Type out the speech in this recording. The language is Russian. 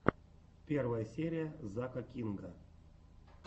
первая серия зака кинга